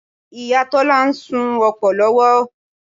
Ìyá Tọ́lá ń ṣu opó lọ́wọ́